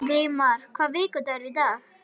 Vígmar, hvaða vikudagur er í dag?